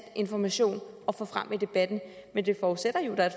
information at få frem i debatten men det forudsætter jo at der er